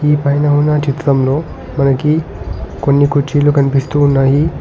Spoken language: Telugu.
ఈ పైన ఉన్న చిత్రంలో మనకి కొన్ని కుర్చీలు కనిపిస్తూ ఉన్నాయి.